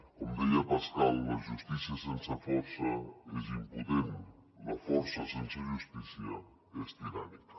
com deia pascal la justícia sense força és impotent la força sense justícia és tirànica